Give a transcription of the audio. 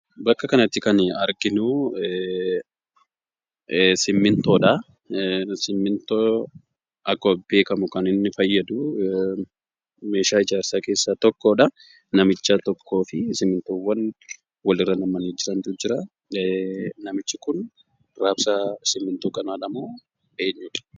Bakka kanatti kan arginu "simmiintoo"dha. Simmintoon akkuma beekamu kan inni fayyadu, meeshaa ijaarsaa keessaa tokkodha. Namicha tokkoofi simmiintoowwan walirra nam'anii jirantu jira. Namichi kun raabsa simmintoo kanaadha moo eenyudha?